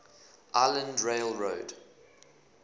island rail road